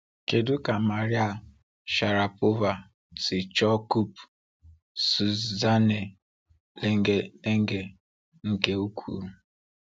Kedu ka Maria Sharapova si chọọ Coupe Suzanne Lenglen Lenglen nke ukwuu?